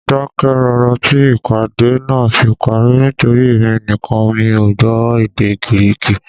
Mo dákẹ́ rọ́rọ́ tí ìpàdé náà fi parí nítorí èmi nìkan mi ò gbọ́ èdè Gíríìkì